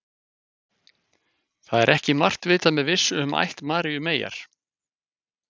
Það er ekki margt vitað með vissu um ætt Maríu meyjar.